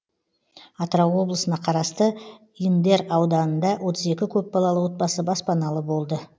атырау облысына қарасты индер ауданында отыз екі көпбалалы отбасы баспаналы болды